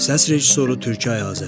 Səs rejissoru Türkay Azəri.